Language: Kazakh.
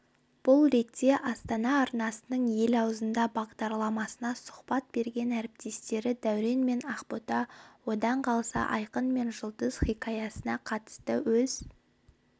бұл ретте астана арнасының ел аузында бағдарламасына сұхбат берген әріптестері дәурен мен ақбота одан қалса айқын мен жұлдыз хикаясына қатысты өз